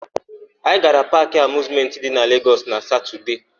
Anyị gara Paakị Amịuzmentị dị na Legọs na Satọdee.